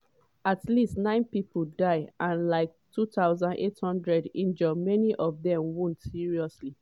at least nine pipo die and like 2800 injure many of dem wound seriously.